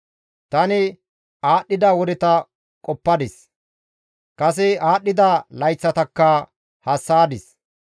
Tani aadhdhida wodeta qoppadis; kase aadhdhida layththatakka hassa7adis.